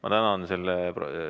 Ma tänan!